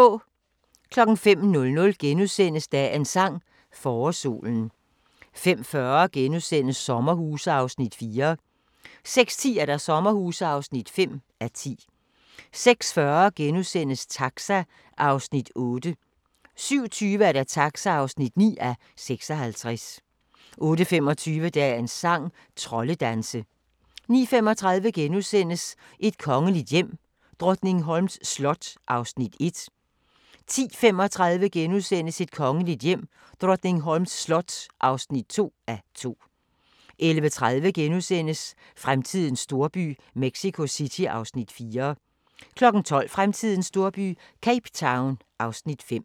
05:00: Dagens sang: Forårssolen * 05:40: Sommerhuse (4:10)* 06:10: Sommerhuse (5:10) 06:40: Taxa (8:56)* 07:20: Taxa (9:56) 08:25: Dagens sang: Troldedanse 09:35: Et kongeligt hjem: Drottningholms slot (1:2)* 10:35: Et kongeligt hjem: Drottningholms slot (2:2)* 11:30: Fremtidens storby – Mexico City (Afs. 4)* 12:00: Fremtidens storby – Cape Town (Afs. 5)